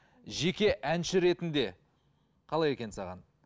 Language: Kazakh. жеке әнші ретінде қалай екен саған